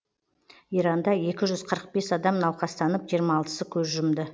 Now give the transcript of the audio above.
иранда екі жүз қырық бес адам науқастанып жиырма алтысы көз жұмды